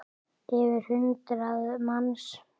Yfir hundrað manns?